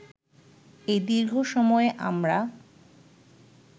এই দীর্ঘ সময়ে আমরা